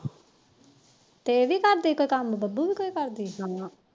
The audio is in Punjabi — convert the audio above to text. ਤੇ ਇਹ ਵੀ ਕਰਦੀ ਕੋਈ ਕੰਮ ਡੱਬੂ ਵੀ ਕਰਦੀ